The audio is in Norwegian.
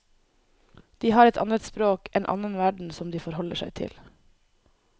De har et annet språk, en annen verden som de forholder seg til.